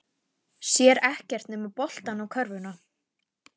Sér ekkert nema boltann og körfuna.